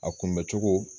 A kunbɛ cogo